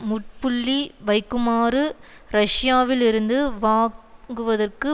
முட்ப்புள்ளி வைக்குமாறு ரஷ்யாவில் இருந்து வாங்குவதற்கு